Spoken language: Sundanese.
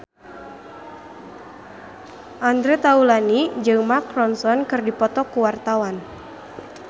Andre Taulany jeung Mark Ronson keur dipoto ku wartawan